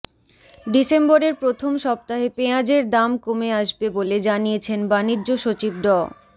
ডিসেম্বরের প্রথম সপ্তাহে পেঁয়াজের দাম কমে আসবে বলে জানিয়েছেন বাণিজ্য সচিব ড